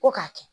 Ko k'a kɛ